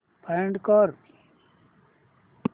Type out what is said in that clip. find कर